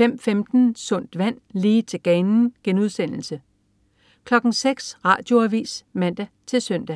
05.15 Sundt vand, lige til ganen* 06.00 Radioavis (man-søn)